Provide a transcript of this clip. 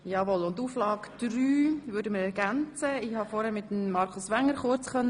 Ich konnte vorher kurz mit Grossrat Wenger sprechen.